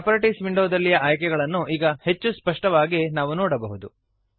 properties ವಿಂಡೋದಲ್ಲಿಯ ಆಯ್ಕೆಗಳನ್ನು ಈಗ ಹೆಚ್ಚು ಸ್ಪಷ್ಟವಾಗಿ ನಾವು ನೋಡಬಹುದು